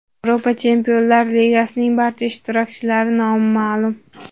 Yevropa Chempionlar Ligasining barcha ishtirokchilari nomi ma’lum.